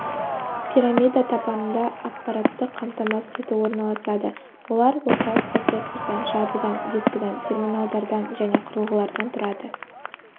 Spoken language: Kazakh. пирамида табанында аппараттық қамтамасыз ету орналасады олар орталық процессордан жадыдан дискіден терминалдардан және құрылғылардан тұрады